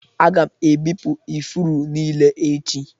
Aga m ebipụ ifuru niile echi